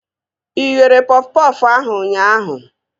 Ị ghere pọf pọfụ ahụ ụnyaahụ?